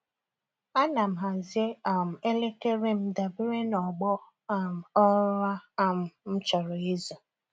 Ana m hazie um elekere m dabere n’ọgbọ um ụra um m chọrọ izu.